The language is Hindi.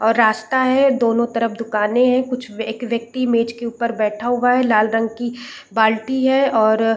और रास्ता है दोनों तरफ दुकानें है कुछ व्यक एक व्यक्ति मेज के ऊपर बैठा हुआ है लाल रंग की बाल्टी है और --